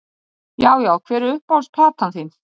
Já já Hver er uppáhalds platan þín?